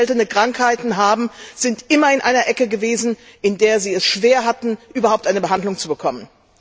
Menschen, die seltene Krankheiten haben, sind immer in einer Ecke gewesen, in der sie es schwer hatten, überhaupt eine Behandlung zu bekommen.